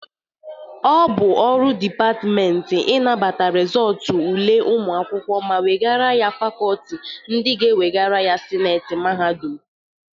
Ọ bụ ọrụ depatmenti inabata rịzọtụ ule ụmụ akwụkwọ ma wegara ya fakọltị ndị ga-ewegara ya sineti mahadum.